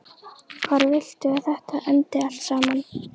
Hvar viltu að þetta endi allt saman?